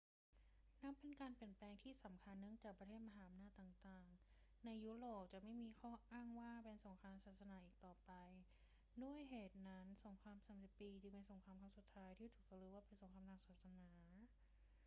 นับเป็นการเปลี่ยนแปลงที่สำคัญเนื่องจากประเทศมหาอำนาจต่าง ๆ ในยุโรปจะไม่มีข้ออ้างว่าเป็นสงครามศาสนาอีกต่อไป ด้วยเหตุนั้น สงครามสามสิบปีจึงเป็นสงครามครั้งสุดท้ายที่ถูกจารึกว่าเป็นสงครามทางศาสนา